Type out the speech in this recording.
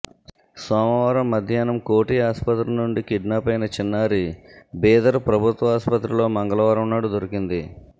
సోమవారం మధ్యాహ్నం కోఠి ఆసుపత్రి నుండి కిడ్నాపైన చిన్నారి బీదర్ ప్రభుత్వాసుపత్రిలో మంగళవారం నాడు దొరికింది